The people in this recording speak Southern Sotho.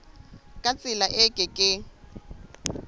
ka tsela e ke keng